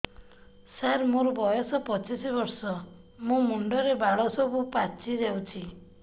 ସାର ମୋର ବୟସ ପଚିଶି ବର୍ଷ ମୋ ମୁଣ୍ଡରେ ବାଳ ସବୁ ପାଚି ଯାଉଛି